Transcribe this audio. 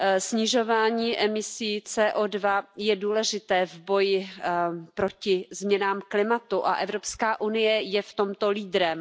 Snižování emisí CO2 je důležité v boji proti změnám klimatu a Evropská unie je v tomto lídrem.